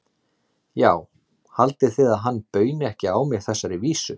Já, haldið þið að hann bauni ekki á mig þessari vísu?